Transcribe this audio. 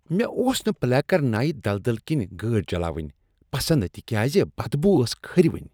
مےٚ اوس نہٕ پلیکرنائی دلدل کِنۍ گٲڑۍ چلإونۍ پسند تکیازِ بد بو اوس کھرٕوُن۔